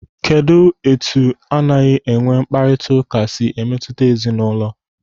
Kedụ etu anaghị enwe mkparịta ụka si emetụta ezinaụlọ?